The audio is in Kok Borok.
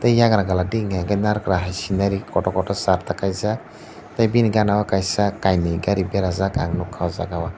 tai eiagra gal digi narikal hai scynari kotor kotor Sarta kaijak tai bini gana o kaisa kaini gari berajak ang nugkha ah jaaga o.